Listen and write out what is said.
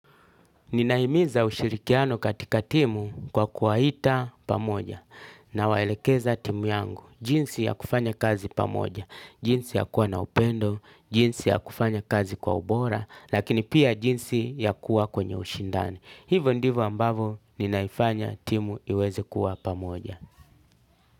Ninaimiza ushirikiano katika timu kwa kuwaita pamoja nawaelekeza timu yangu, jinsi ya kufanya kazi pamoja, jinsi ya kuwa na upendo, jinsi ya kufanya kazi kwa ubora, lakini pia jinsi ya kuwa kwenye ushindani. Hivo ndivo ambavo ninaifanya timu iweze kuwa pamoja.